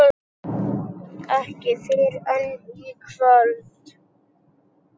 Ekki fyrr en í kvöld.